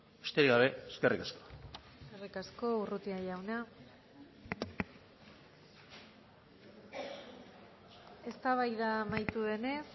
besterik gabe eskerrik asko eskerrik asko urrutia jauna eztabaida amaitu denez